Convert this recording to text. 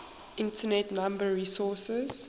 internet number resources